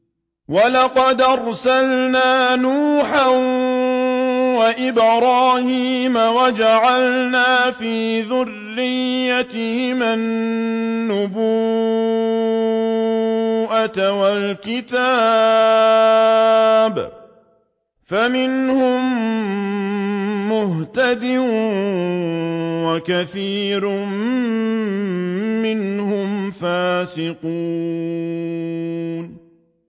وَلَقَدْ أَرْسَلْنَا نُوحًا وَإِبْرَاهِيمَ وَجَعَلْنَا فِي ذُرِّيَّتِهِمَا النُّبُوَّةَ وَالْكِتَابَ ۖ فَمِنْهُم مُّهْتَدٍ ۖ وَكَثِيرٌ مِّنْهُمْ فَاسِقُونَ